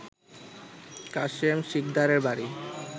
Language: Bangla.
কাসেম শিকদারের বাড়ি